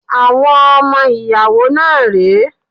Àwọn ọmọ ìyàwó náà rẹ́.